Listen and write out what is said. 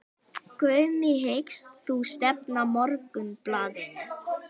Guðný: Hyggst þú stefna Morgunblaðinu?